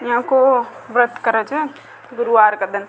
या को व्रत कर छ गुरूवार के दिन।